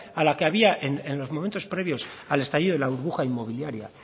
a la que había en los momentos previos al estallido de la burbuja inmobiliaria